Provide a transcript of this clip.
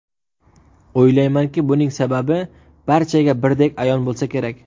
O‘ylaymanki, buning sababi barchaga birdek a’yon bo‘lsa kerak.